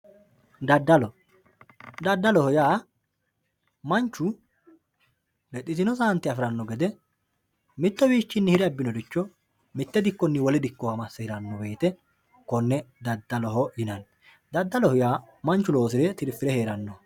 daddalo daddaloho yaa manchu lexxitino saante afiranno gede mittowiichinni hire abbinoricho mitte dikkonni wole dikkowa masse hiranno wote konne daddaloho yinanni daddaloho yaa manchu loosire tirfire heerannoho.